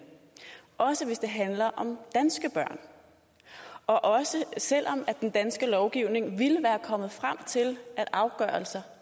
også hvis det handler om danske børn og også selv om den danske lovgivning ville være kommet frem til at afgørelsen